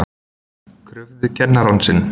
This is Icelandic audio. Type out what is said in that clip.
Krufðu kennarann sinn